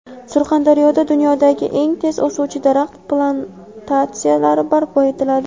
Surxondaryoda dunyodagi eng tez o‘suvchi daraxt plantatsiyalari barpo etiladi.